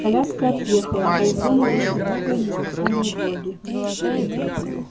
коляска отъехала а из дому вышли новые незнакомые боги